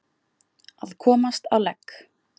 Að komast á legg